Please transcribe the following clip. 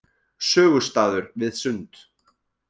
Sögustaður við Sund.